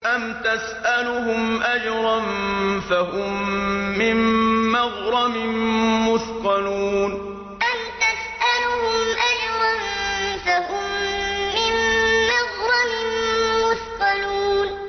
أَمْ تَسْأَلُهُمْ أَجْرًا فَهُم مِّن مَّغْرَمٍ مُّثْقَلُونَ أَمْ تَسْأَلُهُمْ أَجْرًا فَهُم مِّن مَّغْرَمٍ مُّثْقَلُونَ